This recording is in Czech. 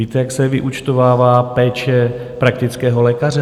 Víte, jak se vyúčtovává péče praktického lékaře?